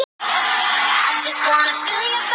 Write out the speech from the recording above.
Hún væri með sönnunargögn.